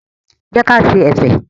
Jẹ́ ka ṣe ẹ̀fẹ̀.